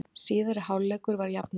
Síðari hálfleikur var jafnari